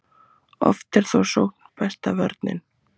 Oft er þó sókn besta vörnin.